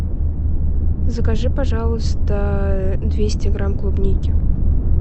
закажи пожалуйста двести грамм клубники